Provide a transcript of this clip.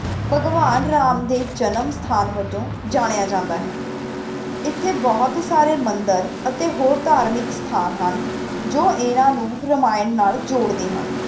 ਭਗਵਾਨ ਰਾਮ ਦੇ ਜਨਮ ਸਥਾਨ ਵਜੋਂ ਜਾਣਿਆ ਜਾਂਦਾ ਹੈ, ਇੱਥੇ ਬਹੁਤ ਸਾਰੇ ਮੰਦਿਰ ਅਤੇ ਹੋਰ ਧਾਰਮਿਕ ਸਥਾਨ ਹਨ, ਜੋ ਇਹਨਾਂ ਨੂੰ ਰਮਾਇਣ ਨਾਲ ਜੋੜਦੇ ਹਨ।